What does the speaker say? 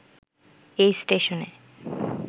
এই স্টেশনে